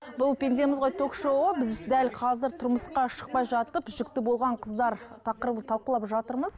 бұл пендеміз ғой ток шоуы біз дәл қазір тұрмысқа шықпай жатып жүкті болған қыздар тақырыбын талқылап жатырмыз